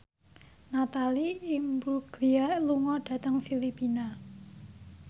Natalie Imbruglia lunga dhateng Filipina